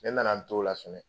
Ne nana n t'o la Sinɛ